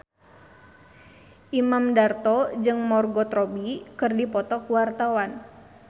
Imam Darto jeung Margot Robbie keur dipoto ku wartawan